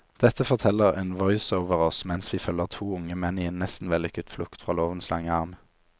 Dette forteller en voiceover oss mens vi følger to unge menn i en nesten vellykket flukt fra lovens lange arm.